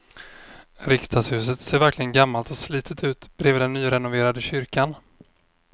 Riksdagshuset ser verkligen gammalt och slitet ut bredvid den nyrenoverade kyrkan.